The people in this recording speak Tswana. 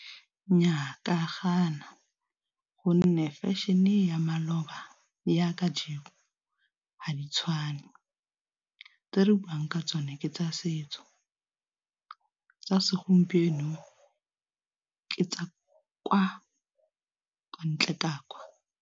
Nnyaa ke a gana gonne fashion-e ya maloba yaaka jeno ha di tshwane, tse re buang ka tsone ke tsa setso tsa segompieno ke tsa kwa ko ntle ka kwa.